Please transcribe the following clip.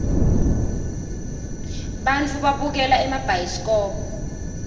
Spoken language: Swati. bantfu babukela emabhayisikobo